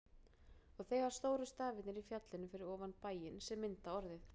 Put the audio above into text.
Og þegar stóru stafirnir í fjallinu fyrir ofan bæinn, sem mynda orðið